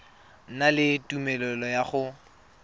na le tumelelo ya go